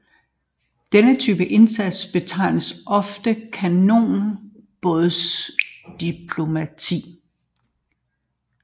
Denne type indsats betegnes ofte kanonbådsdiplomati